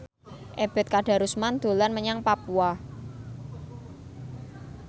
Ebet Kadarusman dolan menyang Papua